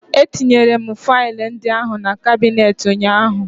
Etinyere m faịlụ ndị ahụ na kabinet ụnyaahụ